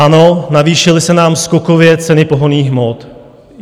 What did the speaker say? Ano, navýšily se nám skokově ceny pohonných hmot.